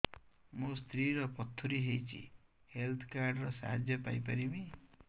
ମୋ ସ୍ତ୍ରୀ ର ପଥୁରୀ ହେଇଚି ହେଲ୍ଥ କାର୍ଡ ର ସାହାଯ୍ୟ ପାଇପାରିବି